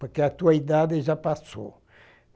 Porque a tua idade já passou.